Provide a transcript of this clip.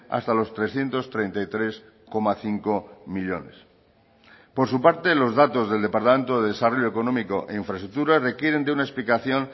hasta los trescientos treinta y tres coma cinco millónes por su parte los datos del departamento de desarrollo económico e infraestructura requieren de una explicación